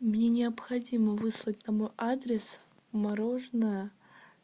мне необходимо выслать на мой адрес мороженое